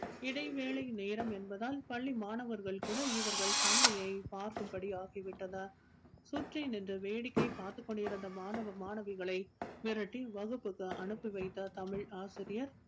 இடைவேளை நேரம் என்பதால் பள்ளி மாணவர்கள் கூட இவர்கள் சண்டையை பார்க்கும் படி ஆகி விட்டது சுற்றி நின்று வேடிக்கை பார்த்துக் கொண்டிருந்த மாணவ மாணவிகளை விரட்டி வகுப்பிற்கு அனுப்பி வைத்த தமிழ் ஆசிரியர்.